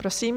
Prosím.